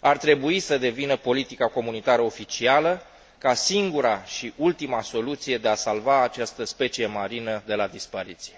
ar trebui să devină politica comunitară oficială, ca singura și ultima soluție de a salva această specie marină de la dispariție.